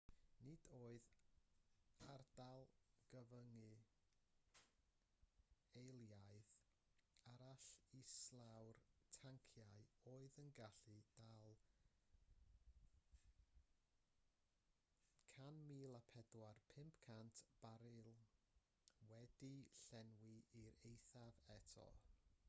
nid oedd ardal gyfyngu eilaidd arall islaw'r tanciau oedd yn gallu dal 104,500 baril wedi'u llenwi i'r eithaf eto